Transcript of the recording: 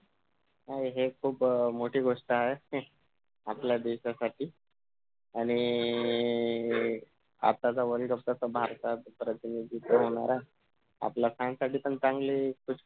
हा हि एक खुप मोठी गोष्ट आहे आपल्या देशासाठी आणि नि आताचा world cup कसं भारतात प्रतिनिधीत्व येणार आहे आपल्या fan साठी पण चांगलं हाय